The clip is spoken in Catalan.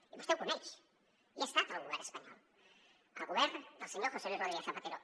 i vostè ho coneix i ha estat el govern espanyol el govern del senyor josé luis rodríguez zapatero